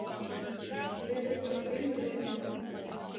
Liðið þarf fimm leikmenn.